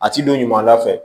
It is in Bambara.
A ti don ɲuman da fɛ